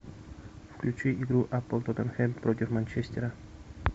включи игру апл тоттенхэм против манчестера